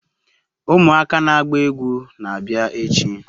Umuaka na agba egwu na-abia echi